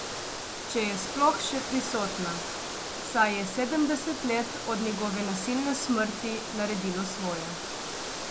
Če je sploh še prisotna, saj je sedemdeset let od njegove nasilne smrti naredilo svoje.